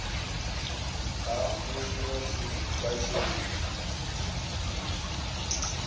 ha musi vha tshi nga